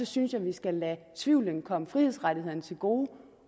synes vi skal lade tvivlen komme frihedsrettighederne til gode